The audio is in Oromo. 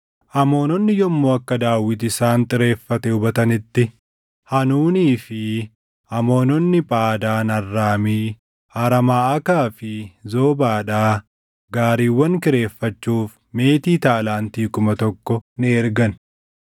Amoononni yommuu akka Daawit isaan xireeffate hubatanitti Haanuunii fi Amoononni Phaadaan Arraamii, Araamaʼaakaa fi Zoobaadhaa gaariiwwan kireeffachuuf meetii taalaantii + 19:6 Taalaantiin tokko kiiloo giraamii 34. kuma tokko ni ergan.